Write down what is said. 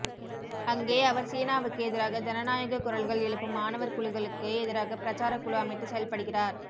அங்கே அவர் சீனாவுக்கு எதிராக ஜனநாயகக் குரல்கள் எழுப்பும் மாணவர்குழுக்களுக்கு எதிராக பிரச்சாரக்குழு அமைத்து செயல்படுகிறார்